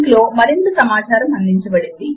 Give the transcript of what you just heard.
ఈ లింక్ లో అందించబడినది